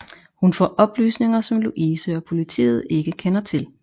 Hun får oplysninger som Louise og politiet ikke kender til